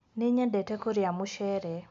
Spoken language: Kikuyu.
nĩnyendete kũrĩa mucere